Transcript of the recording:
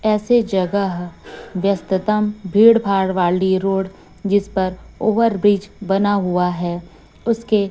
ऐसे जगह व्यस्ततम भीड़ भाड वाली रोड जिस पर ओवर ब्रिज बना हुआ है। उसके--